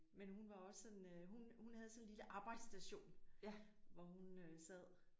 Men hun var også sådan øh hun hun havde sådan en lille arbejdsstation hvor hun øh sad